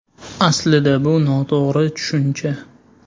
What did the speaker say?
Aslida bu noto‘g‘ri tushuncha.